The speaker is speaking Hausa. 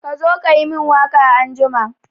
Ka zo ka yi min waka anjima!